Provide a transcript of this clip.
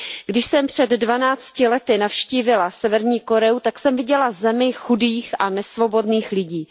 Když jsem před dvanácti lety navštívila Severní Koreu, tak jsem viděla zemi chudých a nesvobodných lidí.